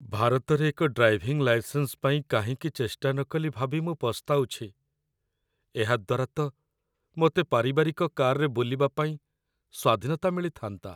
ଭାରତରେ ଏକ driving licence ପାଇଁ କାହିଁକି ଚେଷ୍ଟା ନକଲି ଭାବି ମୁଁ ପସ୍ତାଉଛି। ଏହାଦ୍ଵାରା ତ ମୋତେ ପାରିବାରିକ କାରରେ ବୁଲିବା ପାଇଁ ସ୍ୱାଧୀନତା ମିଳିଥାନ୍ତା।